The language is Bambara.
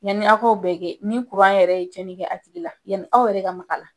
Yanni aw ka o bɛɛ kɛ ni kuran yɛrɛ ye cɛnni kɛ a tigi la yanni aw yɛrɛ ka mak'a la .